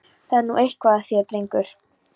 Það er nú eitthvað að þér, drengur!